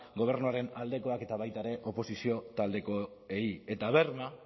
gobernuaren aldekoak eta baita ere oposizio taldekoei eta berma